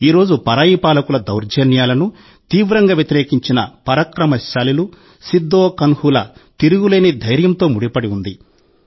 ఈ రోజు పరాయి పాలకుల దౌర్జన్యాలను తీవ్రంగా వ్యతిరేకించిన పరాక్రమశాలులు సిద్ధో కాన్హుల తిరుగులేని ధైర్యంతో ముడిపడి ఉంది